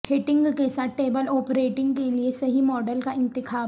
heating کے ساتھ table اوپر ہیٹنگ کے لئے صحیح ماڈل کا انتخاب